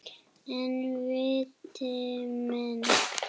En viti menn.